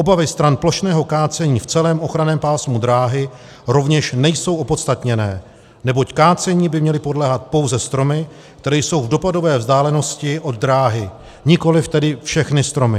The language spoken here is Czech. Obavy stran plošného kácení v celém ochranném pásmu dráhy rovněž nejsou opodstatněné, neboť kácení by měly podléhat pouze stromy, které jsou v dopadové vzdálenosti od dráhy, nikoliv tedy všechny stromy.